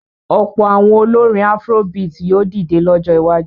Ọ̀pọ̀ àwọn olórin afrobeat ni yóò dìde lọ́jọ́ iwájú.